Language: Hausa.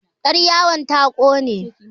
yaryawon ta ƙone